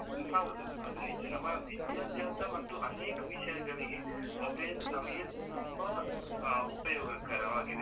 ಹೌದು ಅದು ನಿಜ. ನಮ್ಮ ವಿಧ್ಯಾಭಾಸ ಮತ್ತು ಅನೇಕ ವಿಷಯಗಳಿಗೆ mobile ನಮಿಗೆ ತುಂಬಾ ಅಹ್ ಉಪಯೋಗಕರ ವಾಗಿದೆ.